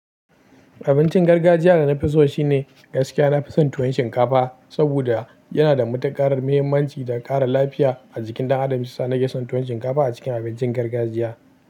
Abincin gargajiya da nafi so shine gaskiya. Nafi son tuwon shinkafa saboda yana da matuƙar muhimmanci da ƙara lafiya a jikin ɗan adam. Hiyasa nake son tuwon shinkafa a cikin abincin gargajiya.